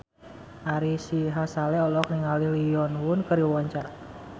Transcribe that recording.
Ari Sihasale olohok ningali Lee Yo Won keur diwawancara